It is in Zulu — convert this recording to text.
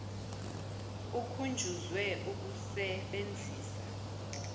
ukhunjuzwe ukuse benzisa